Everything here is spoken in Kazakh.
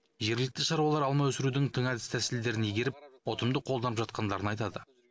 жергілікті шаруалар алма өсірудің тың әдіс тәсілдерін игеріп ұтымды қолданып жатқандарын айтады